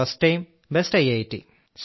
first time best IIT